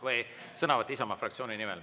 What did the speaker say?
Või sõnavõtt Isamaa fraktsiooni nimel.